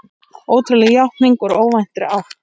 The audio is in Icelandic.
Ótrúleg játning úr óvæntri átt